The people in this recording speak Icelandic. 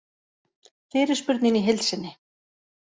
Fyrirspurnin í heild sinni